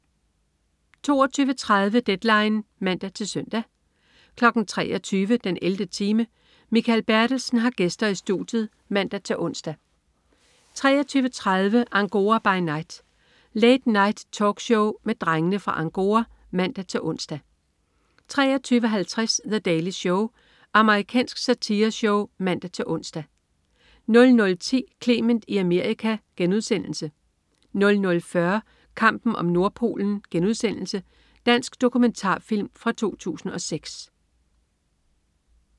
22.30 Deadline (man-søn) 23.00 den 11. time. Mikael Bertelsen har gæster i studiet (man-ons) 23.30 Angora by Night. Late Night-talkshow med Drengene fra Angora (man-ons) 23.50 The Daily Show. Amerikansk satireshow (man-ons) 00.10 Clement i Amerika* 00.40 Kampen om Nordpolen.* Dansk dokumentarfilm fra 2006